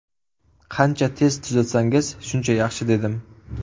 Qancha tez tuzatsangiz shuncha yaxshi”, dedim.